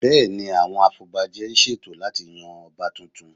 Bẹ́ẹ̀ ni, àwọn afọbajẹ ń ṣètò láti yan Ọba tuntun